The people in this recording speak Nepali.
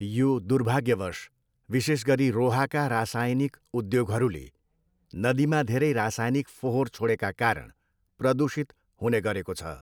यो दुर्भाग्यवश, विशेष गरी रोहाका रासायनिक उद्योगहरूले नदीमा धेरै रासायनिक फोहोर छोडेका कारण प्रदूषित हुने गरेको छ।